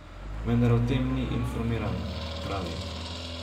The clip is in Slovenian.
Vendar o tem ni informiran, pravi.